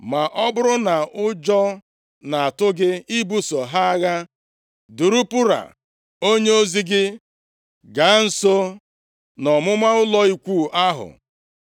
Ma ọ bụrụ na ụjọ na-atụ gị ibuso ha agha, duru Pura onyeozi gị gaa nso nʼọmụma ụlọ ikwu ahụ,